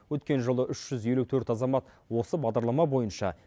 өткен жылы үш жүз елу төрт азамат осы бағдарлама бойынша